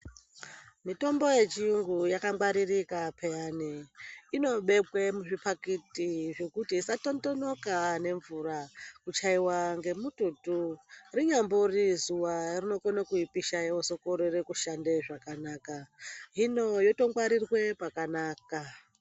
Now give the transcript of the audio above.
Mitombo yechiyungu yakangwaririka peya. Inobekwa muzvipakiti zvekuti isa tondonoka nemvura, kuchaiva ngemututu. Rinyambori zuva rinokona kuipa vozokorere kushanda zvakanaka, hino yotongwarire pakanaka.